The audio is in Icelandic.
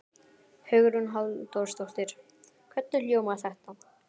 Hugrún Halldórsdóttir: Hvernig hljómar þetta?